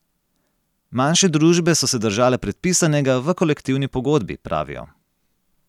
Manjše družbe so se držale predpisanega v kolektivni pogodbi, pravijo.